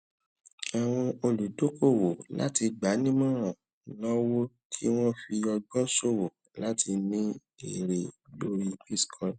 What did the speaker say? àwọn oludokowo láti gbanimoran náwó kí wọn fi ọgbọn sowo láti rí ère lórí bitcoin